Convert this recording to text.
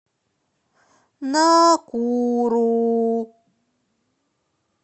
накуру